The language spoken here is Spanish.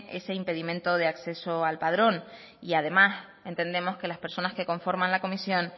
es impedimento de acceso al padrón y además entendemos que las personas que conforma la comisión